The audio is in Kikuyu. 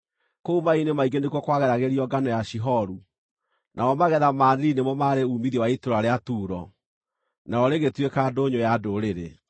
Kũu maaĩ-inĩ maingĩ nĩkuo kwageragĩrio ngano ya Shihoru, namo magetha ma Nili nĩmo maarĩ uumithio wa itũũra rĩa Turo, narĩo rĩgĩtuĩka ndũnyũ ya ndũrĩrĩ.